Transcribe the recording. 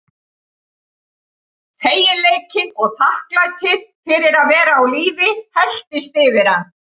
Feginleikinn og þakklætið fyrir að vera á lífi helltist yfir hann.